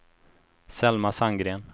Selma Sandgren